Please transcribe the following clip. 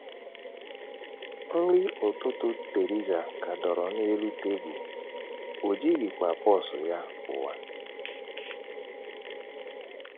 Nri ụtụtụ Theresa ka dọrọ n’elu tebụl, o jighịkwa pọọsụ ya pụwa.